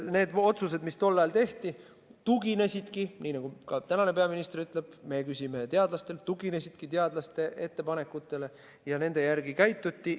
Need otsused, mis tol ajal tehti, tuginesid – ka praegune peaminister ütleb, et meie küsime teadlastelt – teadlaste ettepanekutele ja nende kohaselt käituti.